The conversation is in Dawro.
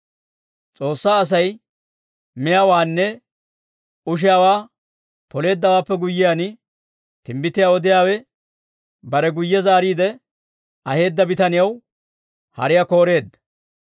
S'oossaa Asay miyaawaanne ushiyaawaa Poleeddawaappe guyyiyaan, timbbitiyaa odiyaawe bare guyye zaariide aheedda bitaniyaw hariyaa kooreedda.